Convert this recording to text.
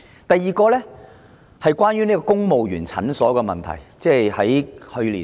第二，關於公務員診所的問題。